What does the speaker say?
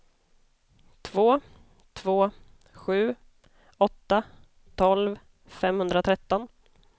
två två sju åtta tolv femhundratretton